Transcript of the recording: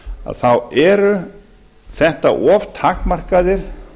að þá eru þetta of takmarkaðir